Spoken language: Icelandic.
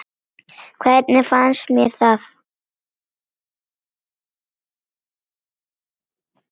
Hvernig fannst mér það?